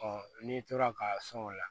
n'i tora ka sɔn o la